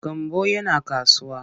Gambo yana kasuwa.